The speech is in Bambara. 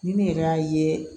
Ni ne yɛrɛ y'a ye